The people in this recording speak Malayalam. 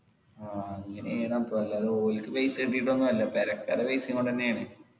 ആ ഇങ്ങനെ അപ്പൊ എല്ലാരും ഓല്ക്ക് പൈസ കിട്ടീട്ടൊന്നും അല്ല പെരക്കാരെ പൈസീം കൊണ്ടെന്നെ ആണ്